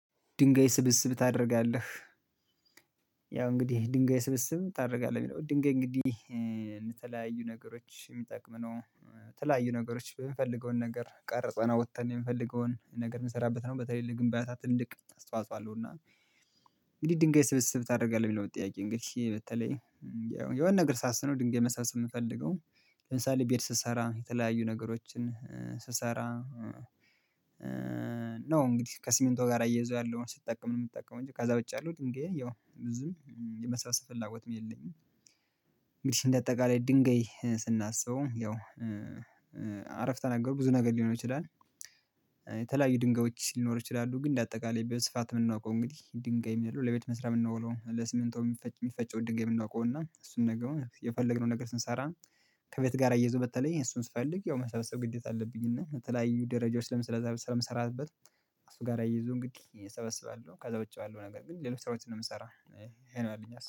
ድንገይ ስብስብ ታደርጋለህ። ያው እንግዲህ ድንገይ ስብስብ ታደርጋለህ የሚለው ድንጋይ እንግዲህ የተለያዩ ነገሮች የሚጠቅም ነው። ተለያዩ ነገሮች የምፈልገውን ነገር ቀርጸና አዉጥተን የምፈልገውን ነገር የምንሰራበት ነው በተለይ ለግንባታ ትልቅ አስተዋጽኦ አለው እና። እንግዲህ ድንጋይ ስብስብ ታደርጋለህ የሚለው ጥያቄ እንግዲህ በተለይ የሆነ ነገር ሳስብ ነው ድንጋይ መሰብሰብ የምፈልገው ለምሳሌ ቤት ስሰራ የተለያዩ ነገሮችን ስሰራ። ነው እንግዲህ ከሲሚንቶ ጋር አየዘው ያለውን ስትጠቀም ነው የምትጠቀመው እንጂ ከዛ ዉጪ ያለው ድንገይ ያው ዝም የመሰብሰብ ፍላጎትም የለኝም። እንግዲህ እንደ አጠቃላይ ድንጋይ ስናስበው ያው አረፍት ተናገሩ ብዙ ነገር ሊሆን ይችላል። የተለያዩ ድንጋዮች ሊኖር ይችላሉ ግን እንደ አጠቃላይ በስፋት የምናውቀው እንግዲህ ድንጋይ የሚለው ለቤት መስራት የምናውለው ለስሚንቱ የሚፈጭ የሚፈጭን ድንጋይ የምናውቀው እና እሱን ነገር የፈለግነው ነገር ስንሰራ። ከቤት ጋር አየይዘው በተለይ እሱን ስፈልግ ያው መሰብሰብ ግዴታ አለብኝ እና የተለያዩ ደረጃዎች ስለምሰራበት። እሱ ጋር አያይዞ እንግዲህ እሰበስባለሁ ከዛ ወጭ ያለው ነገር ግን ሌሎች ስራዎችን ነው የምሰራው። ይሄ ነው ያለኝ ሀሳብ